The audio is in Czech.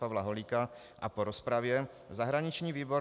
Pavla Holíka a po rozpravě zahraniční výbor